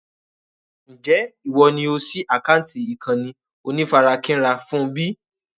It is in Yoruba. Ń jẹ́ ìwọ ni ó síí àkántì ìkànnì onífarakínra fún bí?